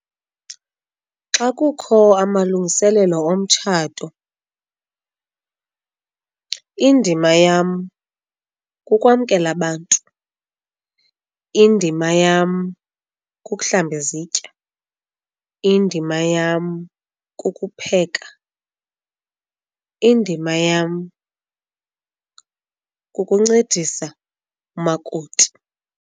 Xa kukho amalungiselelo omtshato indima yam kukwamkela abantu, indima yam kukuhlamba izitya, indima yam kukupheka, indima yam kukuncedisa umakoti.